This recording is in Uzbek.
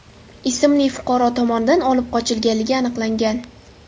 ismli fuqaro tomonidan olib qochilganligi aniqlangan.